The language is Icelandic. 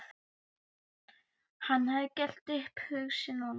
Hann hafði gert upp hug sinn og